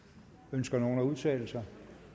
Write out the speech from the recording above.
ønsker nogen at udtale sig